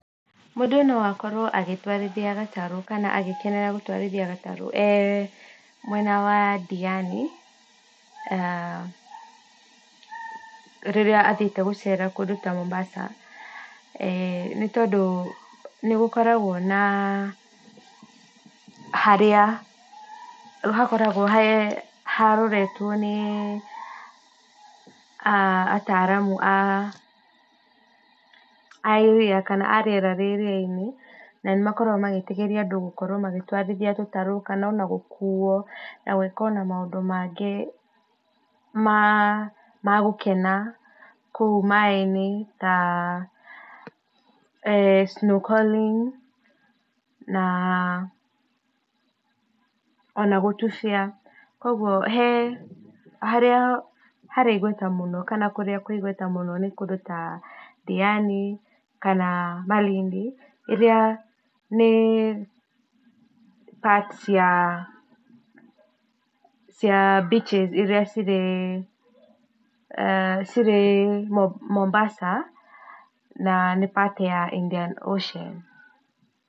Mũndũ no akorwo agĩtwarithia gatarũ kana agĩkenerera gũtwara gatarũ ee mwena wa ndiani na rĩrĩa athiĩte gũcera kũndũ ta Mombasa, nĩ tondũ nĩ gũkoragwo na harĩa hakoragwo nĩ ataaramu a iria kana arĩera rĩa iriainĩ na nĩ makoragwo magĩtĩkiria andũ gũtwarithia gatarũ kana ona gũkuo na gwĩka ona maũndũ mangĩ ma gũkena kũu maĩinĩ snow calling ona gũtibĩra kwoguo, harĩa harĩ igweta mũno kana kũrĩa nĩ kũndũ ta Ndiaini kana Malindi ĩrĩa nĩ part ya cia beaches cirĩ, cirĩ Mombasa na nĩ part ya Indian Ocean.